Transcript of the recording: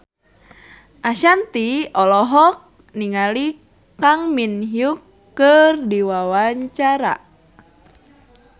Ashanti olohok ningali Kang Min Hyuk keur diwawancara